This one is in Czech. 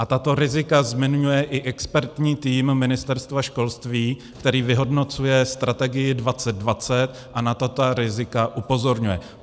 A tato rizika zmiňuje i expertní tým Ministerstva školství, který vyhodnocuje strategii 2020 a na tato rizika upozorňuje.